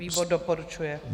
Výbor doporučuje.